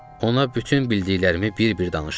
Ona bütün bildiklərimi bir-bir danışdım.